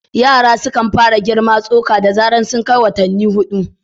Yara suna fara girma tsoka da zarar sun kai watanni huɗu.